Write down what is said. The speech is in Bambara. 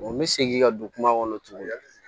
n bɛ segin ka don kuma kɔnɔ togo di